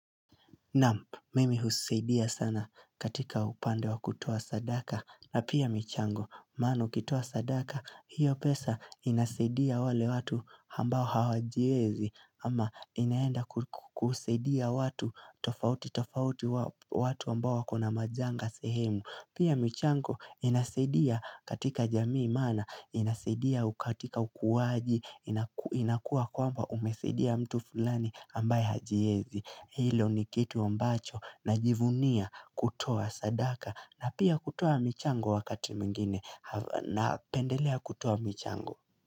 Naam, mimi husidia sana katika upande wa kutoa sadaka, na pia michango, maana ukitoa sadaka, hiyo pesa inasedia wale watu ambao hawajiezi, ama inaenda kusidia watu tofauti tofauti watu ambao wakona majanga sehemu. Pia michango inasedia katika jamii mana, inasedia katika ukuwaji, inakua kwamba umesedia mtu fulani ambaye hajiezi. Hilo ni kitu ambacho najivunia kutoa sadaka na pia kutoa michango wakati mwingine na pendelea kutoa michango.